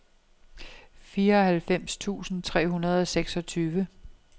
fireoghalvfems tusind tre hundrede og seksogtyve